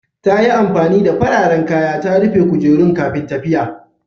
Ta yi amfani da fararen kaya ta rufe kujerun kafin tafiya.